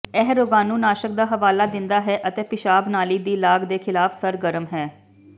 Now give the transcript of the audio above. ਇਹ ਰੋਗਾਣੂਨਾਸ਼ਕ ਦਾ ਹਵਾਲਾ ਦਿੰਦਾ ਹੈ ਅਤੇ ਪਿਸ਼ਾਬ ਨਾਲੀ ਦੀ ਲਾਗ ਦੇ ਖਿਲਾਫ ਸਰਗਰਮ ਹੈ